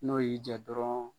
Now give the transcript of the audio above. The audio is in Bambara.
N'o y'i jɛn dɔrɔn